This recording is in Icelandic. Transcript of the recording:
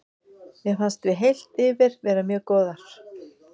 Mér fannst við heilt yfir vera mjög góðar.